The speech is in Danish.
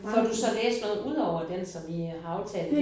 Får du så læst noget udover den som I har aftalt?